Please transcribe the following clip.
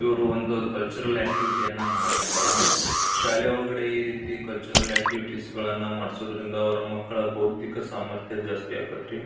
ಇವ್ರು ಒಂದು cultural activity ಯನ್ನಾ ಮಾಡಕುಂತರ ಶಾಲೆ ಒಳಗ ಈ ರಿತಿ ಕಲ್ಚರಲ್ ಆಕ್ಟಿವಿಟಿಸ್ ಗಳನ್ನಾ ಮಾಡ್ಸಾದ್ರಿಂದ ಅವರ ಮಕ್ಕಳ ಬೌದಿಕ ಸಾಮರ್ಥ್ಯ ಜಾಸ್ತಿ ಆಕತ್ರಿ.